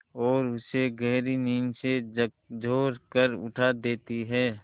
और उसे गहरी नींद से झकझोर कर उठा देती हैं